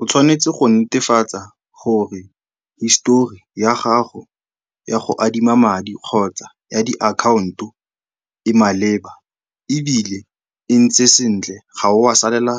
O tshwanetse go netefatsa gore histori ya gago ya go adima madi kgotsa ya di-account-o e maleba ebile e ntse sentle, ga o a salela